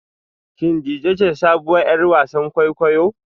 Shin Dejay ce sabuwar 'yar wasan kwaikwayo?